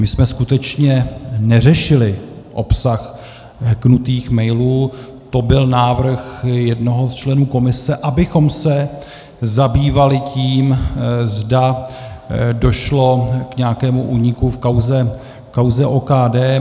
My jsme skutečně neřešili obsah hacknutých mailů, to byl návrh jednoho z členů komise, abychom se zabývali tím, zda došlo k nějakému úniku v kauze OKD.